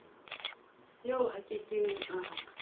eo a ke keng a